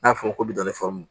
N'a fɔra ko bi dɔn fɔ